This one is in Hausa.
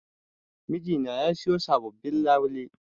Mijina ya sayo sabobbin labule.